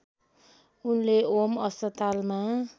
उनले ओम अस्पतालमा